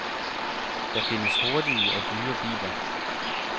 Der findes hurtige og dyre biler.